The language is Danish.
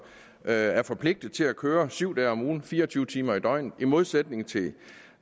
er forpligtet til at køre syv dage om ugen fire og tyve timer i døgnet i modsætning